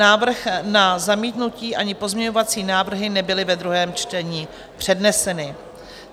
Návrh na zamítnutí ani pozměňovací návrhy nebyly ve druhém čtení předneseny.